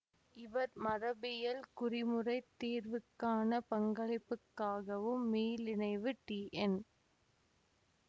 இவர் மரபியல் குறிமுறைத் தீர்வுக்கான பங்களிப்புக்காகவும் மீளிணைவு டி என்